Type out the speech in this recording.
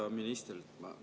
Hea minister!